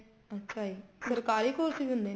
ਅੱਛਾ ਜੀ ਸਰਕਾਰੀ course ਚ ਦਿੰਦੇ ਨੇ